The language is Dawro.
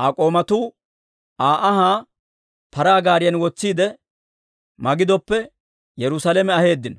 Aa k'oomatuu Aa anhaa paraa gaariyan wotsiide, Magidoppe Yerusaalame aheeddino;